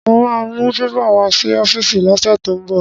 Mo ma mú pépà wá sí ọ́fíìsì lọ́sẹ̀ tó ń bọ̀